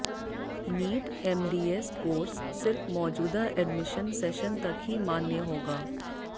NEET MDS course सिर्फ मौजूदा admission session तक ही मान्य होगा